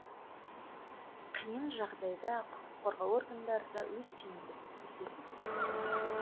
қиын жағдайда құқық қорғау органдары да өз тиімділігін көрсетуде